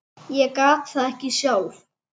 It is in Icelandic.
Ég gat það ekki sjálf.